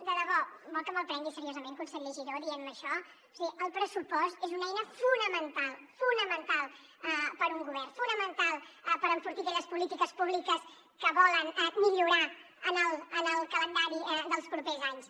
de debò vol que me’l prengui seriosament conseller giró dient me això és a dir el pressu post és una eina fonamental fonamental per a un govern fonamental per enfortir aquelles polítiques públiques que volen millorar en el calendari dels propers anys